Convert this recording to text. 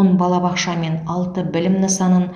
он балабақша мен алты білім нысанын